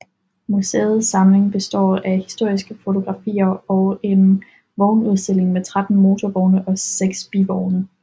Museets samling består af historiske fotografier og en vognudstilling med 13 motorvogne og 6 bivogne